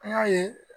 An y'a ye